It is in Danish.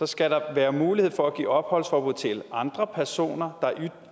skal der være mulighed for at give opholdsforbud til andre personer der